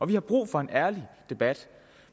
vi har brug for en ærlig debat